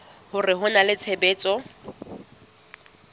hore ho na le tshebetso